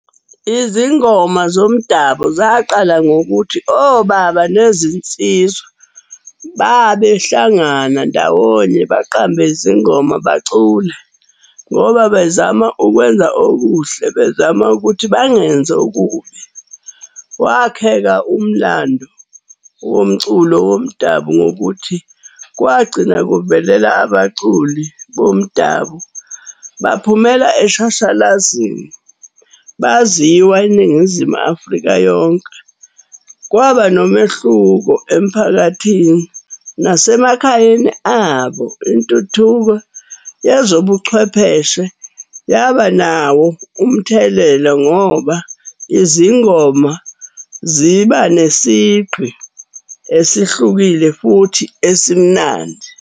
Izingoma zomdabu zaqala ngokuthi obaba nezinsizwa babehlangana ndawonye, baqambe izingoma bacule ngoba bezama ukwenza okuhle, bezama ukuthi bangenzi okubi. Kwakheka umlando womculo womdabu ngokuthi kwagcina kuvelela abaculi bomdabu, baphumela eshashalazini, baziwa iNingizimu Afrika yonke. Kwaba nomehluko emphakathini, nasemakhayeni abo. Intuthuko yezobuchwepheshe yaba nawo umthelela ngoba izingoma ziba nesigqi esihlukile, futhi esimnandi.